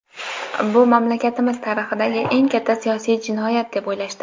bu mamlakatimiz tarixidagi eng katta siyosiy jinoyat deb o‘ylashdi.